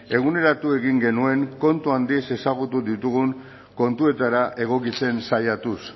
eguneratu egin genuen kontu handiz ezagutu ditugun kontuetara egokitzen saiatuz